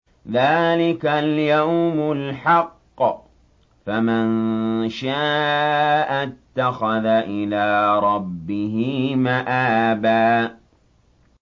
ذَٰلِكَ الْيَوْمُ الْحَقُّ ۖ فَمَن شَاءَ اتَّخَذَ إِلَىٰ رَبِّهِ مَآبًا